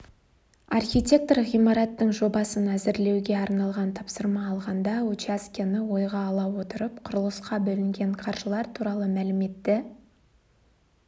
архитектор ғимараттың жобасын әзірлеуге арналған тапсырма алғанда учаскені ойға ала отырып құрылысқа бөлінген қаржылар туралы мәліметті